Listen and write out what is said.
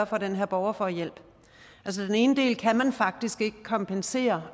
for at den her borger får hjælp den ene del kan man faktisk ikke kompensere